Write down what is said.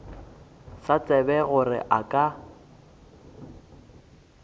sa tsebe gore a ka